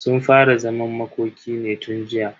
Sun fara zaman makoki ne tun jiya.